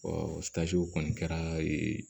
o kɔni kɛra ee